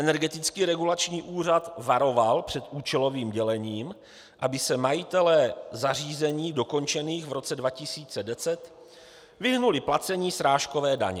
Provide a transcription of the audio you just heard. Energetický regulační úřad varoval před účelovým dělením, aby se majitelé zařízení dokončených v roce 2010 vyhnuli placení srážkové daně.